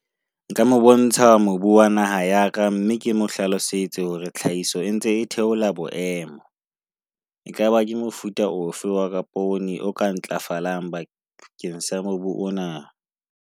Nka mo bontsha mobu wa naha ya ka, mme ke mo hlalosetse hore tlhahiso e ntse e theola boemo. Ekaba ke mofuta ofe waka o ka ntlafala bakeng sa mobu ona?